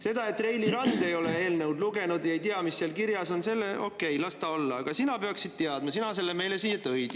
Seda, et Reili Rand ei ole eelnõu lugenud ja ei tea, mis seal kirjas on – okei, las ta olla, aga sina peaksid teadma, sina meile selle eelnõu siia tõid.